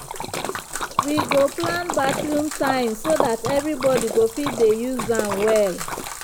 wi go plan bathroom time so dat everybody go fit dey use am well.